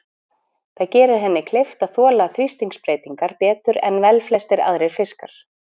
Það gerir henni kleift að þola þrýstingsbreytingar betur en velflestir aðrir fiskar.